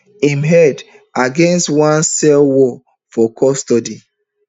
im head against one um cell wall for custody